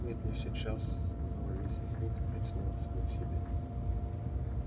нет не сейчас сказала миссис мид и притянула сына к себе